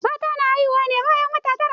Mata na haihuwa ne bayan wata tara.